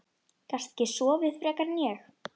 Gastu ekki sofið frekar en ég?